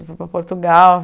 Fui para Portugal.